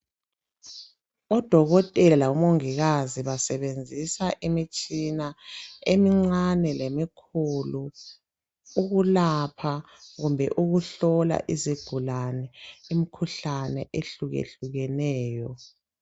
Odokotela labo mongikazi basebenzisa imitshina emincane lemikhulu ukulapha kumbe ukuhlola izigulane imikhuhlane ehluke hlukeneyo.